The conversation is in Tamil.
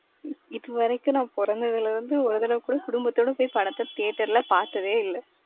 இப்பவரைக்கும் நான் பொறந்ததுல இருந்து ஒரு தரவக்கூடா குடுப்பதோட போய் படத்த theater ல பாத்ததே இல்ல.